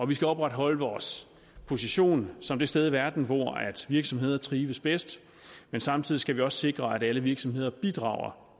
vi skal opretholde vores position som det sted i verden hvor virksomheder trives bedst men samtidig skal vi også sikre at alle virksomheder bidrager